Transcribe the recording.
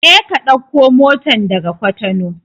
Je ka ɗauko motan daga Cotonou!